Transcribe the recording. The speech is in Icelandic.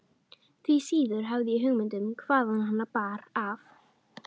Því síður hafði ég hugmynd um hvaðan hana bar að.